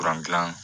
gilan